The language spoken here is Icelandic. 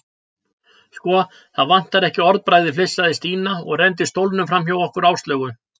Sko, það vantar ekki orðbragðið flissaði Stína og renndi stólnum framhjá okkur Áslaugu.